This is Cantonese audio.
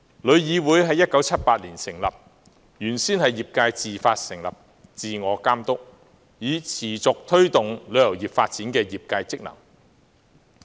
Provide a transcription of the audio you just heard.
旅議會於1978年成立，原先是業界自發成立，自我監督，以持續推動旅遊業發展的業界職能。